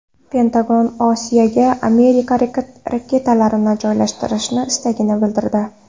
Pentagon Osiyoga Amerika raketalarini joylashtirish istagini bildirdi.